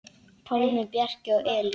Pálmi, Bjarki og Elín.